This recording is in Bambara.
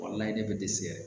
Walayi ne bɛ dɛsɛ